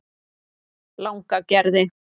Langagerði